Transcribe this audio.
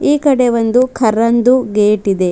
ಈಕಡೆ ಒಂದು ಕರ್ರಂದು ಗೇಟ್ ಇದೆ.